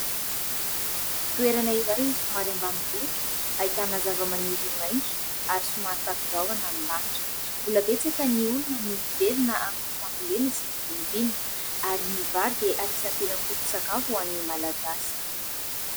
Toerana iray somary ambanivohitra ,ahitana zava-maniry maintso ary somary takon-drahona ny lanitra ,mbola betsaka ny olona no mivelona amin' ny fambolena sy ny fiompaina ary ny vary dia anisany tena foton -tsakafo ho an'ny malagasy .